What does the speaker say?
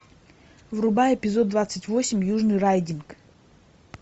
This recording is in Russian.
врубай эпизод двадцать восемь южный райдинг